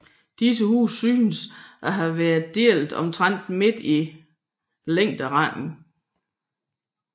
Disse huse synes a have været delte omtrent midt i længderetningen